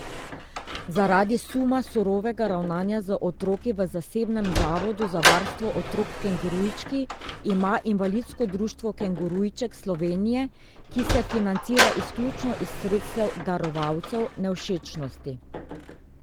Zaradi suma surovega ravnanja z otroki v zasebnem zavodu za varstvo otrok Kengurujčki ima Invalidsko društvo Kengurujček Slovenije, ki se financira izključno iz sredstev darovalcev, nevšečnosti.